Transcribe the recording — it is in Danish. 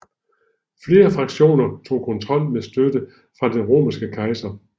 Flere fraktioner tog kontrol med støtte fra den romerske kejser